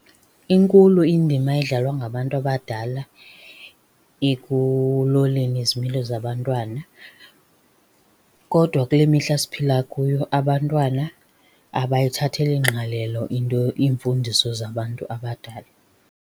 Inkulu indima edlalwa ngabantu abadala ekuloleni izimilo zabantwana. Kodwa kule mihla esiphila kuyo abantwana abayithatheli ngqalelo into iimfundiso zabantu abadala.